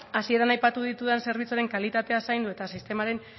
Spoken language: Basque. hasieran aipatu ditudan zerbitzuaren kalitatea zaindu eta sistemaren